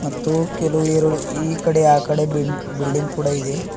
ಮತ್ತು ಕೆಲವು ಎರಡು ಈಕಡೆ ಆಕಡೆ ಬಿ ಬಿಲ್ಡಿಂಗ್ ಕೂಡ ಇದೆ.